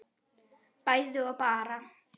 bæði og bara